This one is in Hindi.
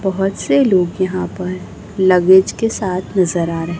बहुत से लोग यहां पर लगेज के साथ नजर आ रहे।